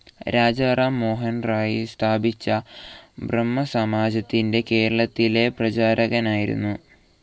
രാജാറാം മോഹൻറോയ് സ്ഥാപിച്ച ബ്രഹ്മസമാജത്തിന്റെ കേരളത്തിലെ പ്രചാരകനായിരുന്നു.